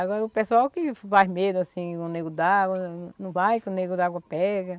Agora, o pessoal que faz medo, assim, do Nego d'água, não vai que o Nego d'água pega.